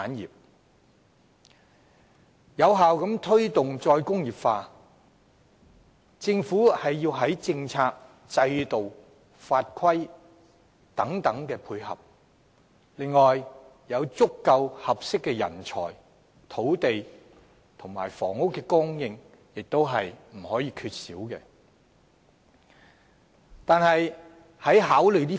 要有效推動"再工業化"，政府須在政策、制度及法規上配合，而足夠和合適的人才、土地及房屋供應亦不可缺少。